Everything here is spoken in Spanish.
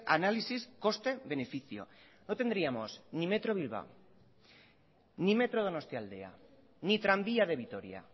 análisis coste beneficio no tendríamos ni metro bilbao ni metro donostialdea ni tranvía de vitoria